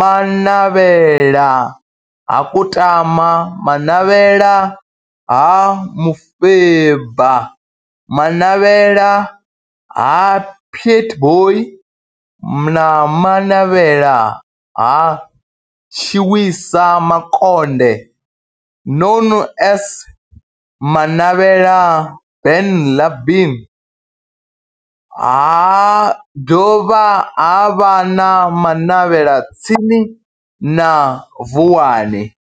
Manavhela ha Kutama, Manavhela ha Mufeba, Manavhela ha Pietboi na Manavhela ha Tshiwisa Makonde known as Manavhela Benlavin ha dovha havha na Manavhela tsini na Vuwani.